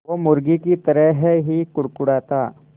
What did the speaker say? वो मुर्गी की तरह ही कुड़कुड़ाता